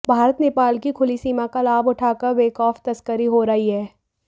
भारत नेपाल की खुली सीमा का लाभ उठाकर बखौफ तस्करी हो रही है